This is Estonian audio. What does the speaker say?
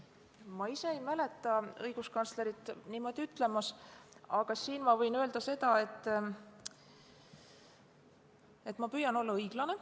Ma ise ei mäleta õiguskantslerit niimoodi ütlemas, aga võin öelda seda, et ma püüan olla õiglane.